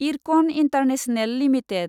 IRCON international limited